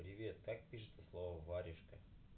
привет как пишется слово варежка